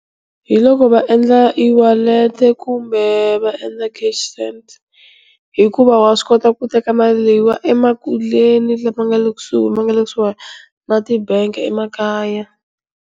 Hi loko va endla iwalete kumbe va endla cash send hikuva wa swi kota ku teka mali leyiwani emakuleni lama nga le kusuhi ku suhani na tibangi emakaya.